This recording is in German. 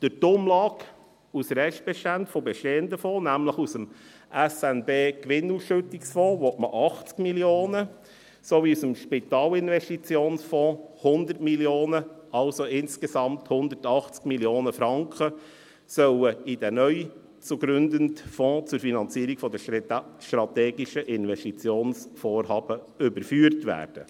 – Durch die Umlage aus Restbeständen von bestehenden Fonds, nämlich 80 Mio. Franken aus dem SNB-Gewinnausschüttungsfonds sowie 100 Mio. Franken aus dem Spitalinvestitionsfonds (SIF), sollen also insgesamt 180 Mio. Franken in den neu zu gründenden Fonds zur Finanzierung von strategischen Investitionsvorhaben überführt werden.